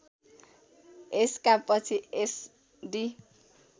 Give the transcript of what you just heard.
यसका पछि एसडी